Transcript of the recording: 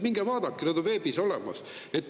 Minge vaadake, need on veebis olemas.